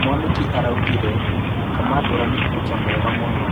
Mwanĩki araugire Kamangũra nĩ kũcha mwega mũno.